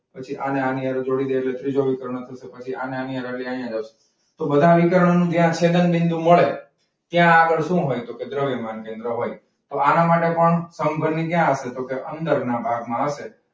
પછી આને આની હારે જોડી ડે એટ્લે ત્રીજો વિકર્ણ પછી અને આની હારે, તોહ બધા વિકર્ણ નું બે આંખે આગડ બિંદુ મડે ત્યાં આગડ સુ હોય તો કે દ્રવ્યમાન કેન્દ્ર હોય. તો આના માટે પણ સમઘનની ક્યાં હસે. તો પછી અંદર ના ભાગ માં હસે.